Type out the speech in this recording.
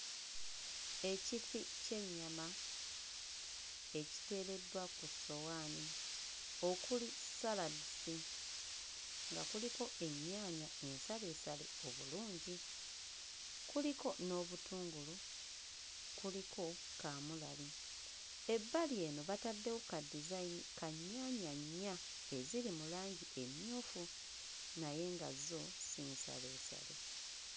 Ekifi ky'ennyama ekiteereddwa ku ssowaani okuli ssaladizi nga kuliko ennyaanya ensaleesale obulungi kuliko n'obutungulu kuliko kaamulali ebbali eno bataddewo kaddizayini ka nnyaanya nnya eziri mu langi emmyufu naye nga zo si nsaleesale.